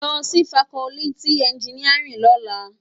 Lò si fákòlìtí ènjìníárìn lòlá